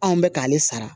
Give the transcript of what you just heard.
Anw bɛ k'ale sara